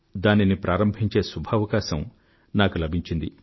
దానిని ప్రారంభించే శుభావకాశం నాకు లభించింది